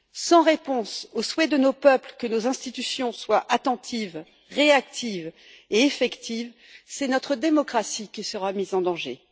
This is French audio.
Sans réponse aux souhaits de nos peuples que nos institutions soient attentives, réactives et effectives, c'est notre démocratie qui sera mise en danger.